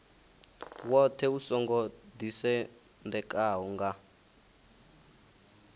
woṱhe u songo ḓisendekaho nga